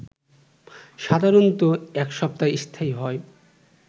সাধারণত এক সপ্তাহ স্থায়ী হয়